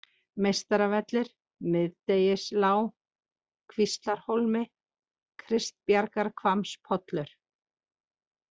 Meistaravellir, Miðdegislág, Kvíslarhólmi, Kristbjargarhvammspollur